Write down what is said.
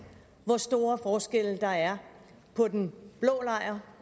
hvor store forskelle der er på den blå